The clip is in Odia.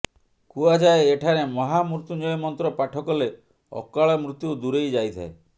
କୁହାଯାଏ ଏଠାରେ ମହାମୃତ୍ୟୁଞ୍ଜୟ ମନ୍ତ୍ର ପାଠକଲେ ଅକାଳ ମୃତ୍ୟୁ ଦୂରେଇ ଯାଇଥାଏ